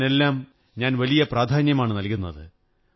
ഇതിനെല്ലാം ഞാൻ വലിയ പ്രാധാന്യമാണു നല്കുന്നത്